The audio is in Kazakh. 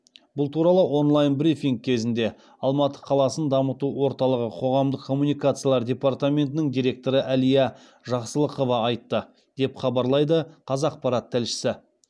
бұл туралы онлайн брифинг кезінде алматы қаласын дамыту орталығы қоғамдық коммуникациялар департаментінің директоры әлия жақсалықова айтты деп хабарлайды қазақпарат тілшісі